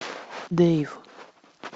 дэйв